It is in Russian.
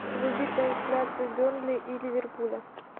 вруби трансляцию бернли и ливерпуля